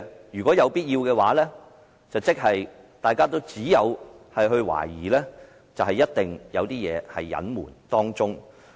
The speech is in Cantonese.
如果有必要那樣做，大家只能懷疑，當中一定有所隱瞞。